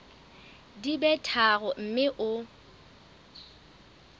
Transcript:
di be tharo mme o